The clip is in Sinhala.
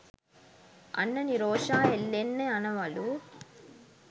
අන්න නිරෝෂා එල්ලෙන්න යනවලු.